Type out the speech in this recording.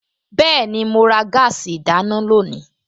Bẹ́ẹ̀ni, mo ra gáàsì ìdáná lónìí